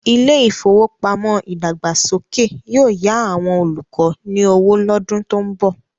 Ilé ìfowópamọ́ ìdàgbàsókè yóò yá àwọn olùkọ́ ní owó lọ́dún tó ń bọ̀.